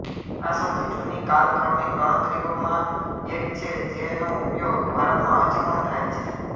આ સૌથી જૂની કાલક્રમિક ગણતરીઓ માં એક છે જેનો ઉપયોગ ભારતમાં હજી પણ થાય છે